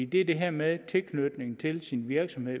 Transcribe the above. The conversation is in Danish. det er det her med tilknytningen til ens virksomhed